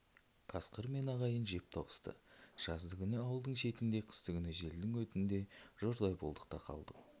қасқыр мен ағайын жеп тауысты жаздыгүні ауылдың шетінде қыстыгүні желдің өтінде жұрдай болдық та қалдық